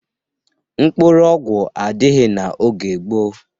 Mkpụrụ ọgwụ adịghị n'oge gboo.